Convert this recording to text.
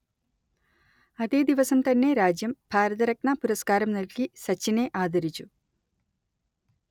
അതേ ദിവസം തന്നെ രാജ്യം ഭാരതരത്ന പുരസ്കാരം നൽകി സച്ചിനെ ആദരിച്ചു